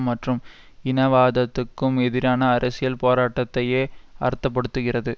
மற்றும் இனவாதத்துக்கும் எதிரான அரசியல் போராட்டத்தையே அர்த்த படுத்துகிறது